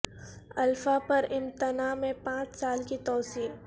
alpha پر امتناع میں پانچ سال کی تو سیع